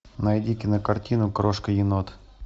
найди кинокартину крошка енот